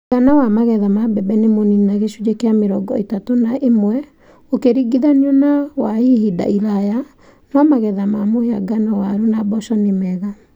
Mũigana wa magetha ma mbembe nĩ mũnini na gĩcunjĩ kĩa mĩrongo ĩtatũ na ũmwe gũkĩringithanio na wa ihinda iraya, no magetha ma mũhĩa ngano, waru, na mboco nĩ mega.